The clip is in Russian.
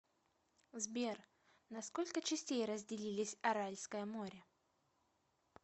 сбер на сколько частей разделились аральское море